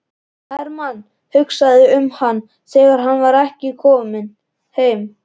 Hermann hugsaði um hana þegar hann var kominn heim.